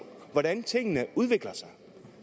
hvordan tingene udvikler sig